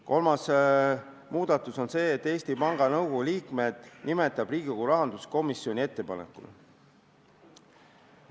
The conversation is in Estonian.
Kolmas muudatus on see, et Eesti Panga Nõukogu liikmed nimetab ametisse rahanduskomisjoni ettepanekul Riigikogu.